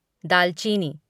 दालचीनी